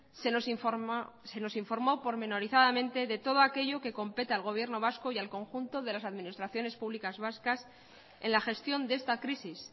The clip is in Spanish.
se nos informó pormenorizadamente de todo aquello que compete al gobierno vasco y al conjunto de las administraciones públicas vascas en la gestión de esta crisis